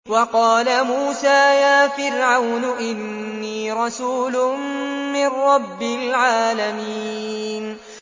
وَقَالَ مُوسَىٰ يَا فِرْعَوْنُ إِنِّي رَسُولٌ مِّن رَّبِّ الْعَالَمِينَ